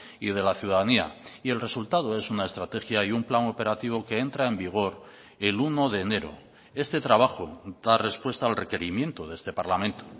y de la ciudadanía y el resultado es una estrategia y un plan operativo que entra en vigor el uno de enero este trabajo da respuesta al requerimiento de este parlamento